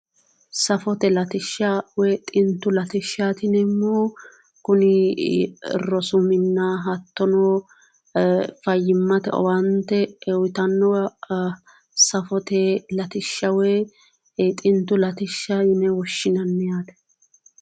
Safote latishsha woyi xintu latishshaati yineemmohu kuni rosu minna hattono fayyimmate owaante uyitannowa safote latishsha woyi xintu latishsha yine woshshinanni yaate